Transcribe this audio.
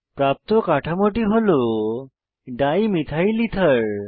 প্রাপ্ত কাঠামোটি হল ডাইমিথাইল এথের